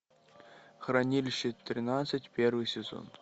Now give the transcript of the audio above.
хранилище тринадцать первый сезон